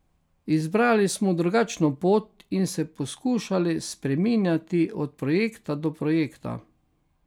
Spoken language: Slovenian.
Izbrali smo drugačno pot in se poskušali spreminjati od projekta do projekta.